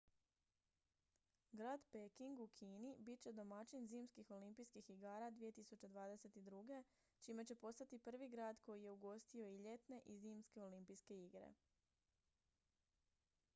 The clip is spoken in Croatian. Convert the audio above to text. grad peking u kini bit će domaćin zimskih olimpijskih igara 2022 čime će postati prvi grad koji je ugostio i ljetne i zimske olimpijske igre